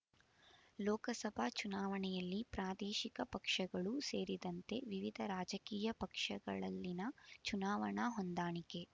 ಲೋಕಸಭಾ ಚುನಾವಣೆಯಲ್ಲಿ ಪ್ರಾದೇಶಿಕ ಪಕ್ಷಗಳೂ ಸೇರಿದಂತೆ ವಿವಿಧ ರಾಜಕೀಯ ಪಕ್ಷಗಳಲ್ಲಿನ ಚುನಾವಣಾ ಹೊಂದಾಣಿಕೆ